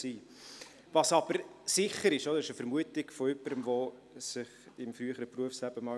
Ich danke dem Volkswirtschaftsdirektor für die Anwesenheit, wünsche ihm alles Gute und entlasse ihn.